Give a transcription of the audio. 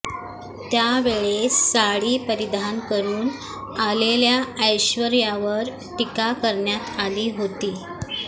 त्यावेळेस साडी परिधान करून आलेल्या ऐश्वर्यावर टीका करण्यात आली होती